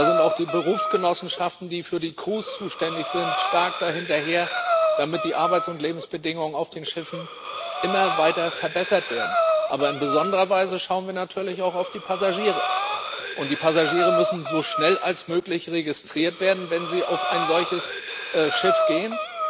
Da sind auch die Berufsgenossenschaften, die für die Crews zuständig sind, da stark hinterher, damit die Arbeits und Lebensbedingungen auf den Schiffen immer weiter verbessert werden. Aber in besonderer Weise schauen wir natürlich auch auf die Passagiere, und die Passagiere müssen so schnell wie möglich registriert werden, wenn sie auf ein solches Schiff gehen.